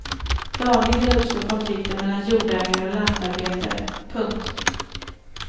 Dagligen uppstår konflikter mellan jordägare och lantarbetare. punkt